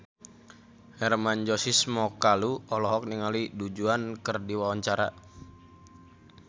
Hermann Josis Mokalu olohok ningali Du Juan keur diwawancara